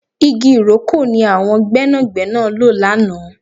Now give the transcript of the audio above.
Igi ìrókò ni àwọn gbẹ́nàgbẹ́nà lò lánàá